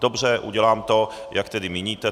Dobře, udělám to, jak tedy míníte.